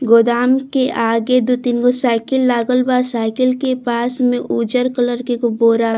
गोदाम के आगे दू तीन गो साइकिल लागल बा। साइकिल के पास में उजर कलर के एगो बोरा --